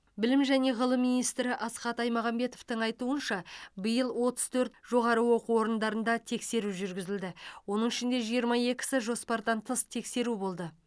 білім және ғылым министрі асхат аймағамбетовтің айтуынша биыл отыз төрт жоғары оқу орындарында тексеру жүргізілді оның ішінде жиырма екісі жоспардан тыс тексеру болды